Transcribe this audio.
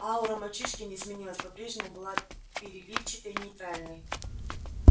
аура мальчишки не изменилась по-прежнему была переливчатой нейтральной